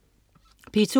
P2: